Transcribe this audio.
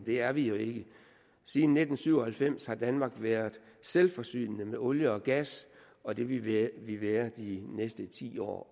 det er vi jo ikke siden nitten syv og halvfems har danmark været selvforsynende med olie og gas og det vil vi være også de næste ti år